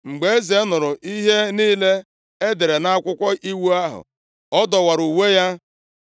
Mgbe eze nụrụ ihe niile e dere nʼakwụkwọ iwu ahụ, ọ dọwara uwe ya.